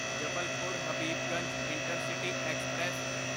Jabalpur Habibganj intercity express